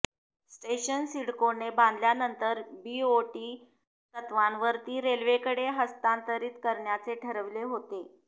station सिडकोने बांधल्यानंतर BOT तत्त्वावर ती रेल्वेकडे हस्तांतरित करण्याचे ठरले होते